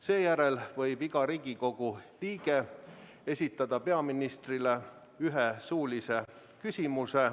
Seejärel võib iga Riigikogu liige esitada peaministrile ühe suulise küsimuse.